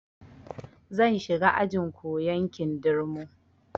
Zan shiga ajin koyan kindirmo